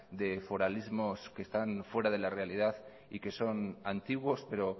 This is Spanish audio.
de foralismos que están fuera de la realidad y que son antiguos pero